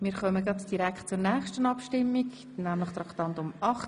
Wir kommen nun zur Abstimmung über Traktandum 38.